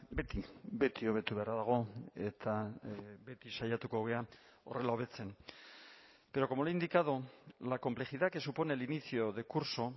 beti beti hobetu beharra dago eta beti saiatuko gara horrela hobetzen pero como le he indicado la complejidad que supone el inicio de curso